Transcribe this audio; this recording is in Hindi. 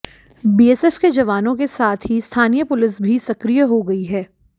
बीएसएफ के जवानों के साथ ही स्थानीय पुलिस भी सक्रिय हो गई है